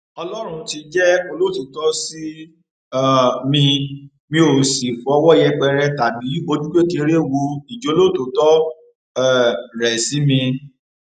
ọlọrun ti jẹ olótìtọ sí um mi mi ó sì fọwọ yẹpẹrẹ tàbí ojú kékeré wo ìjólótòtọ um rẹ sí mi